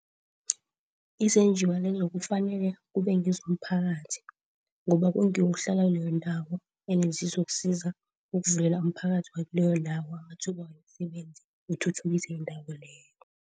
Izenjiwa lezo kufanele kube ngezomphakathi ngoba kungiwo ohlala kileyo ndawo ene zizokusiza ukuvulela umphakathi wakileyo ndawo amathuba womsebenzi uthuthukise indawo leyo.